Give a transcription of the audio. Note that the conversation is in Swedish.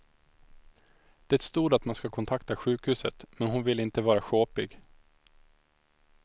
Det stod att man ska kontakta sjukhuset, men hon ville inte vara sjåpig.